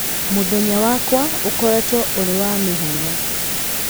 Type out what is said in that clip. Mũthenya wakwa ũkoretwo ũrĩ wa mĩhang'o.